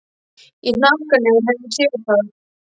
Í hnakkanum hef ég séð það.